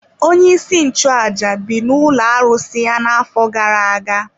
Onyeisi nchụaja bi n’ụlọ arụsị ya n’afọ gara aga.